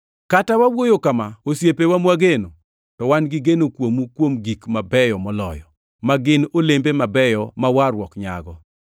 Kata wawuoyo kama, osiepewa mwageno, to wan gi gigeno kuomu kuom gik mabeyo moloyo, ma gin olembe mabeyo ma warruok nyago.